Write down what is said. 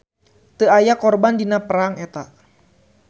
Teu aya korban dina perang eta.